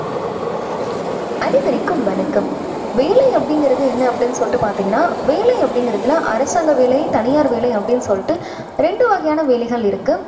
அனைவருக்கும் வணக்கம். வேலை அப்படிங்குறது என்ன அப்படின்னு சொல்லிட்டு பாத்தீங்கன்னா, வேலை அப்படீங்குறதுல அரசாங்க வேலை தனியார் வேலை அப்படீன்னு சொல்லிட்டு ரெண்டு வகையான வேலைகள் இருக்கு.